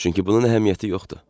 Çünki bunun əhəmiyyəti yoxdur.